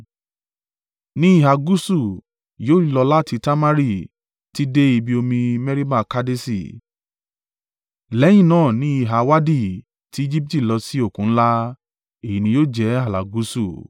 Ní ìhà gúúsù yóò lọ láti Tamari títí dé ibi omi Meriba Kadeṣi, lẹ́yìn náà ni ìhà Wadi tí Ejibiti lọ sí Òkun ńlá. Èyí ni yóò jẹ́ ààlà gúúsù.